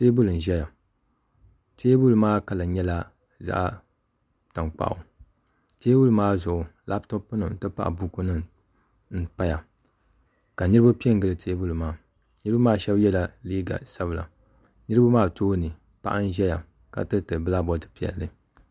Teebuli n ʒɛya teebuli maa kala nyɛla zaɣ tankpaɣu teebuli maa zuɣu labtop nima n ti pahi buku nim n paya ka niraba pɛ n gili teebuli maa niraba maa shab yɛla liiga sabila niraba maa tooni paɣa n ʒɛya ka tiriti bilak bood piɛlli